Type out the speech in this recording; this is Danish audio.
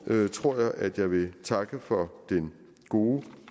tror jeg at jeg vil takke for en god